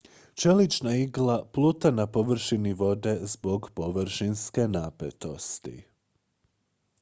čelična igla pluta na površini vode zbog površinske napetosti